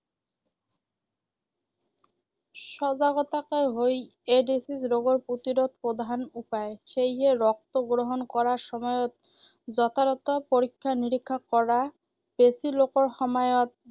সজাগতাই হয় এইড্‌ছ ৰোগৰ প্ৰতিৰোধৰ প্ৰধান উপায়। সেয়ে ৰক্ত গ্ৰহণ কৰাৰ সময়ত যথাযথ পৰীক্ষা নিৰীক্ষা কৰা, বেজি লোৱাৰ সময়ত